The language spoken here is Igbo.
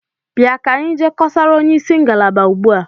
Bịa ka anyị jee kọsara onyeisi ngalaba ugbu a!